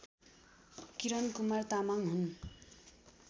किरणकुमार तामाङ हुन्